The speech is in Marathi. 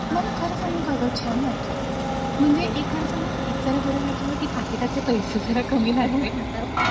मला खरं सांगू का ग छान वाटलं. म्हणजे एक खरं सांगू? एक बरं वाटलं कि पाकिटातले पैसे जरा कमी लागले. हा